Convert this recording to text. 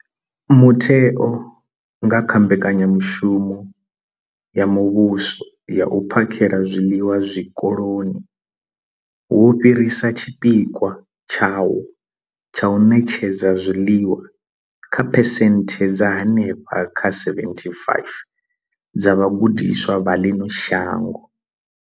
Mutheo, nga kha mbekanyamushumo ya muvhuso ya u phakhela zwiḽiwa zwikoloni, wo fhirisa tshipikwa tshawo tsha u ṋetshedza zwiḽiwa kha phesenthe dza henefha kha 75 dza vhagudiswa vha ḽino shango.